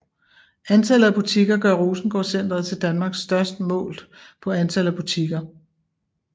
Antallet af butikker gør Rosengårdcentret til Danmarks største målt på antal butikker